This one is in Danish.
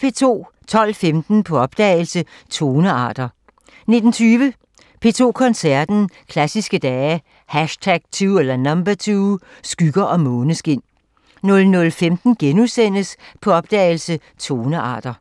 12:15: På opdagelse – Tonearter 19:20: P2 Koncerten – Klassiske Dage #2 – Skygger og måneskin 00:15: På opdagelse – Tonearter *